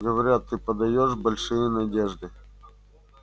говорят ты подаёшь большие надежды